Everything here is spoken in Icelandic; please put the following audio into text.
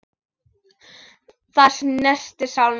Það snertir sál mína.